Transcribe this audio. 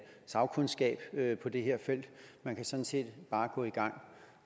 sagkundskab på det her felt man kan sådan set bare gå i gang